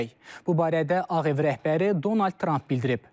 Bu barədə Ağ Ev rəhbəri Donald Trump bildirib.